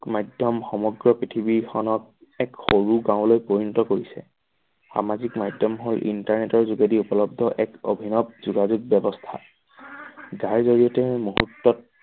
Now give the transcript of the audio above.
মাধ্যম সমগ্ৰ পৃথিৱীখনত এক সৰু গাঁওলৈ পৰিণিত কৰিছে। সামাজিক মাধ্যম হল internet ৰ যোগেদি উপলদ্ধ এক অভিনৱ যোগাযোগ ব্যৱস্থা যোগেদি তুমি মুহূৰ্তত